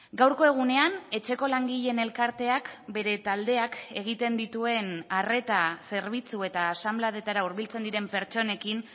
gaurko egunean etxeko langileen elkarteak bere taldeak egiten dituen arreta zerbitzu eta asanbladetara hurbiltzen diren pertsonekin